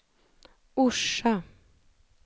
Orsa